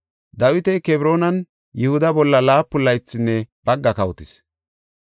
Dawiti Kebroonan Yihuda bolla laapun laythinne bagga kawotis.